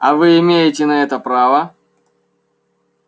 а вы имеете на это право